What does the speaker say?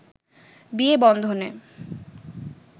বিয়ে বন্ধনে